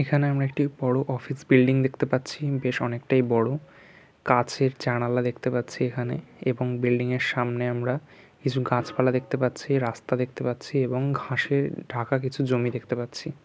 এখানে আমরা একটি বড় অফিস বিল্ডিং দেখতে পাচ্ছি। বেশ অনেকটাই বড়। কাঁচের জানালা দেখতে পাচ্ছি এখানে। এরকম বিল্ডিংয়ের সামনে আমরা কিছু গাছপালা দেখতে পাচ্ছি। রাস্তা দেখতে পাচ্ছি এবং ঘাসে ঢাকা কিছু জমি দেখতে পাচ্ছি।